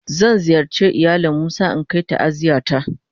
Zan ziyarce ilayalin musa in Kar ta'aziyya ta.